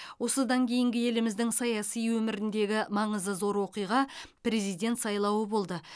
осыдан кейінгі еліміздің саяси өміріндегі маңызы зор оқиға президент сайлауы болды